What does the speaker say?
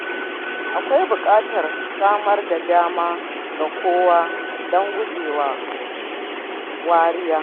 Akwai buƙatar samar da dama ga kowa don gujewa wariya.